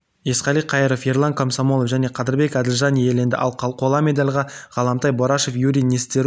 есқали қаиров ерлан комсомолов және қадырбек әділжан иеленді ал қола медальға ғалымтай борашев юрий нестерук